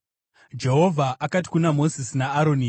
Jehovha akati kuna Mozisi naAroni: